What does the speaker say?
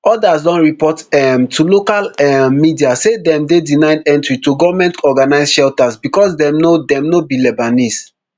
odas don report um to local um media say dem dey denied entry to gomentorganised shelters becos dem no dem no be lebanese